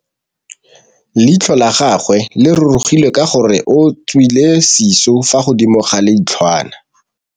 Leitlhô la gagwe le rurugile ka gore o tswile sisô fa godimo ga leitlhwana.